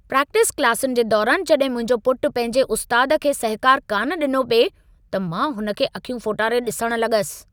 Practice क्लासुनि जे दौरान जड॒हिं मुंहिंजो पुटु पंहिंजे उस्तादु खे सहिकार कान डि॒नो पिए त मां हुन खे अखियूं फोटारे डि॒सणु लग॒सि।